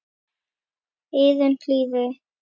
eyrum hlýðir